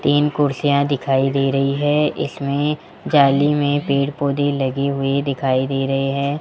तीन कुर्सीयां दिखाई दे रही है इसमें जाली में पेड़ पोधै लागे हुई दिखाई दे रहे हैं।